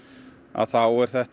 þá er þetta